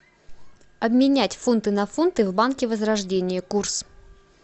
обменять фунты на фунты в банке возрождение курс